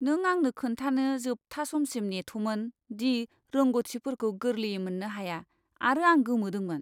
नों आंनो खोन्थानो जोबथा समसिम नेथ'मोन दि रोंग'थिफोरखौ गोरलैयै मोननो हाया आरो आं गोमोदोंमोन!